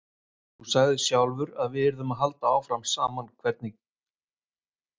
Þú sagðir sjálfur að við yrðum áfram saman hvernig sem allt veltist.